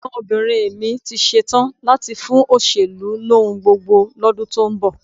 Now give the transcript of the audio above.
Ẹ̀gbọ́nbìnrin mi ti ṣetán láti fún òṣèlú lóhun gbogbo lọ́dún tó ń bọ̀